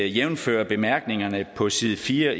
jævnfør bemærkningerne på side fire